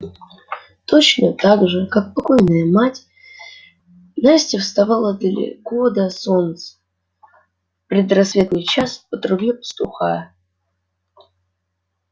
точно так же как и покойная мать настя вставала далеко до солнца в предрассветный час по трубе пастуха